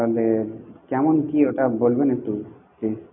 তাহলে কেমন কি ওটা বলবেন একটু please.